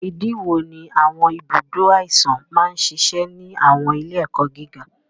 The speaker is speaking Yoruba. Ìdí wo ni àwọn ibùdó àìsàn máa ń ṣiṣẹ́ ní àwọn ilé-ẹ̀kọ́ gíga?